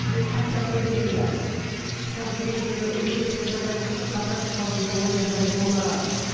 бұл хат жазу деген ы соңғы кездегі өріскел жағдай болып тұр қазақ халқында ондай жағдай болмаған